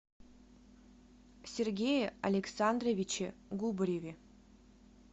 сергее александровиче губареве